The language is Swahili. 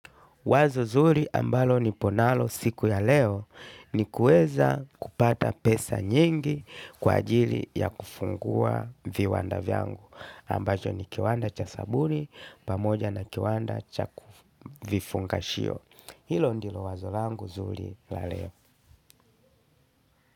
Wazo zuri ambalo niponalo siku ya leo ni kuweza kupata pesa nyingi kwa ajili ya kufungua viwanda vyangu. Ambacho ni kiwanda cha sabuni, pamoja na kiwanda cha vifunga shio. Hilo ndilo wazo langu zuri la leo.